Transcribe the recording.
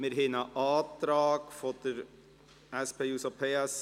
Wir haben einen Antrag der SP-JUSO-PSA-Fraktion.